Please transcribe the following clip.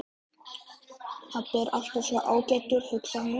Pabbi er alltaf svo ágætur, hugsaði hann.